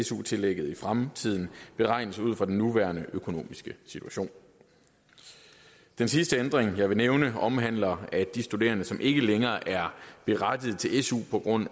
su tillægget i fremtiden beregnes ud fra den nuværende økonomiske situation den sidste ændring jeg vil nævne omhandler at de studerende som ikke længere er berettiget til su på grund